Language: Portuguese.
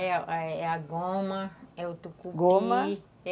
É a goma, é o tucupi, goma,